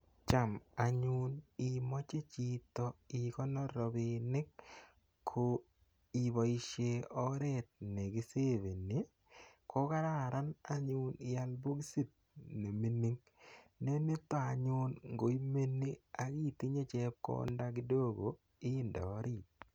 Cham anyun imache chito ikonor rapinik ko ipoishe oret ne kiseveni ko kararan anyun ial pokosit ne mining'. Ne nita anyun ngo imeni itinye chepkonda kidogo inde orit.